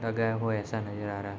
लगाया हुआ ऐसा नज़र आ रहा।